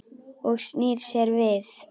Og snýr sér við.